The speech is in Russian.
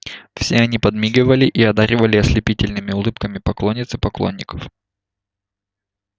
все они подмигивали и одаривали ослепительными улыбками поклонниц и поклонников